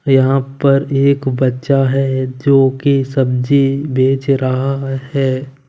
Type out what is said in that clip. यहां पर एक बच्चा है जो कि सब्जी बेच रहा है।